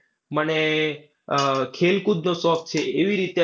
મને આહ ખેલકૂદનો શોખ છે એવી રીતે